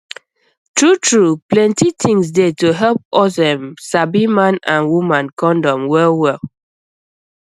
truetrue plentythings dey to help us um sabi man and woman condom wellwell